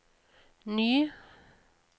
ny